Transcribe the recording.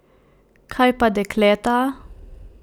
Kaj pa dekleta?